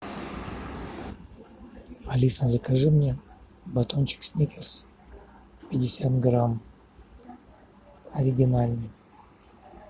алиса закажи мне батончик сникерс пятьдесят грамм оригинальный